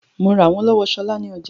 Mo rà wọ́n lọ́wọ́ Ṣọlá ní ọjà